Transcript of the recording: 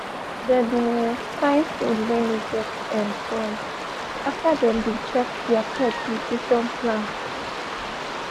they been um fine food wey no get um soy after them been check their pet nutrition plan